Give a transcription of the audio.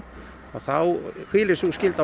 og þá hvílir sú skylda